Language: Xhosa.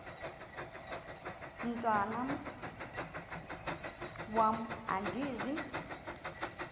mntwan am andizi